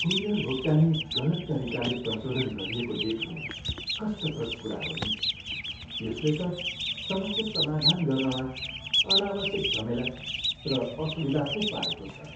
Courier भुक्तानी गलत तरिकाले प्रशोधन गरिएको देख्नु कष्टप्रद कुरा हो नि, यसले त समस्या समाधान गर्नमा अनावश्यक झमेला र असुविधा पो पारेको छ।